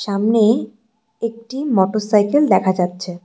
সামনে একটি মটোরসাইকেল দেখা যাচ্ছে।